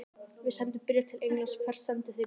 Við sendum bréf til Englands. Hvert sendið þið bréf?